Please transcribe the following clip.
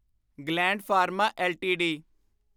gland Pharma LTD